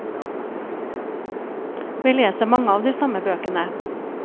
Vi leser mange av de samme bøkene.